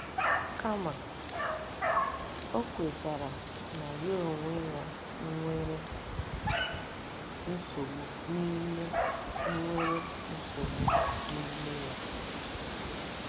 Kama, ọ kwetara na ya onwe ya nwere nsogbu n'ime nwere nsogbu n'ime ya.